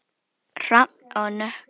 Hrafn og Nökkvi.